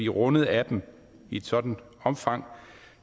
rundet af dem i et sådan omfang